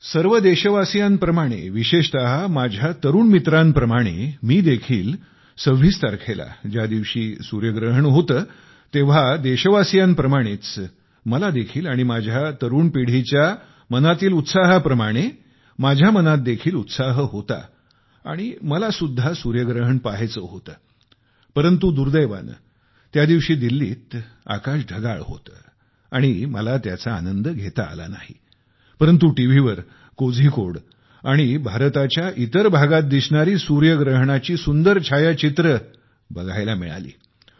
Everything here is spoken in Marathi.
सर्व देशवासीयांप्रमाणे विशेषत माझ्या तरुण मित्रांप्रमाणे मी देखील 26 तारखेला सूर्यग्रहण होते तेव्हा देशवासियांप्रमाणेच मला देखील आणि माझ्या तरुण पिढीच्या मनातील उत्साहाप्रमाणे माझ्या मनात देखील उत्साह होता आणि मलासुद्धा सूर्यग्रहण पहायचे होते पण दुर्दैवाने त्या दिवशी दिल्लीत आकाश ढगाळ होते आणि मला त्याचा आनंद घेता आला नाही परंतु टीव्हीवर कोझिकोड आणि भारताच्या इतर भागात दिसणारी सूर्यग्रहणाची सुंदर छायाचित्रे बघायला मिळाली